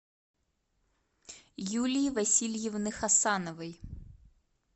юлии васильевны хасановой